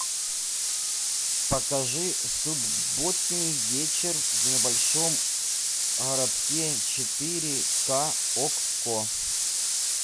покажи субботний вечер в небольшом городке четыре ка окко